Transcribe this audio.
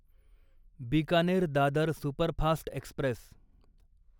Bikaner Dadar superfast Express